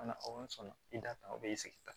sɔnna i da tan o b'i sigi tan